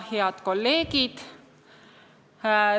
Head kolleegid!